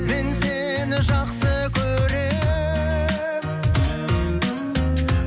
мен сені жақсы көремін